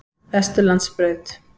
Vesturlandsbraut